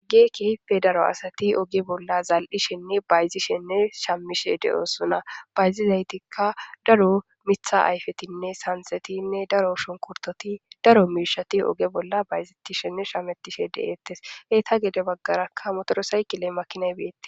Kehippe daro asati oge bolla zal7ishenne bayzishenne shamishe de7oosuna bayzizaytikka daro mitha ayfetinne sansetinne daro shonkurtoti daro miishati oge bolla bayzettishenne shametishe de7eettes heeta gede baggarakka motoro saykile makinay beettes.